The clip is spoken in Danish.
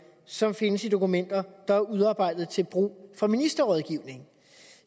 som findes i dokumenter der er udarbejdet til brug for ministerrådgivning